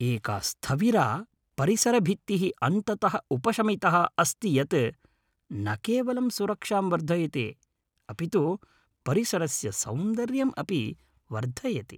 एका स्थविरा परिसरभित्तिः अन्ततः उपशमितः अस्ति यत् न केवलं सुरक्षां वर्धयति अपितु परिसरस्य सौन्दर्यम् अपि वर्धयति।